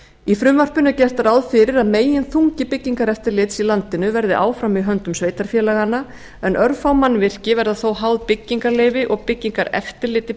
í frumvarpinu er gert ráð fyrir að meginþungi byggingareftirlits í landinu verði áfram í höndum sveitarfélaganna en örfá mannvirki veða þó háð byggingarleyfi og byggingareftirliti